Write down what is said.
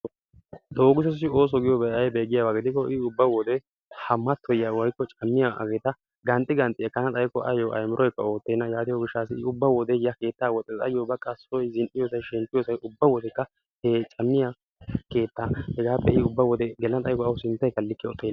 Doogissossi oosso giyoobay aybbe giyaaba giiko I ubba ha mattoyiya woykko caammiyaa hageeta qanxxi qanxxi ekana xaykko ayyo aymiroykka oottenna yaatiyoo gishshayo I ubba wode he keettaa woxxees. ayyo baqqa soy zin''iyoosay shemppiyoosay ubba wodekka he caamiyaa keetta hegappe I ubba wode gela xaykko awu sinttaykka like oottena.